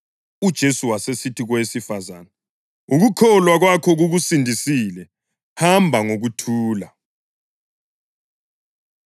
UJesu wasesithi kowesifazane, “Ukukholwa kwakho kukusindisile; hamba ngokuthula.”